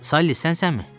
Sally sənsənmi?